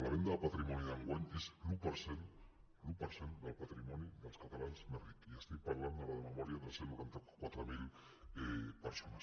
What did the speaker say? la venda de patrimoni d’enguany és l’un per cent del patrimoni dels catalans més rics i estic parlant ara de memòria de cent i noranta quatre mil persones